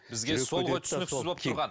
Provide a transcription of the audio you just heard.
бізге сол ғой түсініксіз болып тұрған